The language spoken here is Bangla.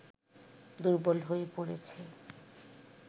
দুর্বল হয়ে পড়েছে